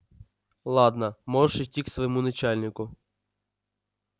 ладно можешь идти к своему начальнику